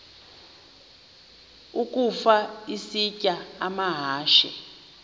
ukafa isitya amahashe